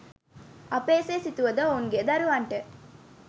අප එසේ සිතුවද ඔවුන්ගේ දරුවන්ට